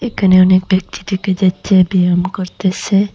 এখানে অনেক ব্যক্তি দেখা যাচ্ছে ব্যায়াম করতেসে।